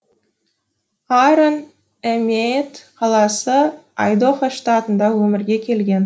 аарон эмеет қаласы айдохо штатында өмірге келген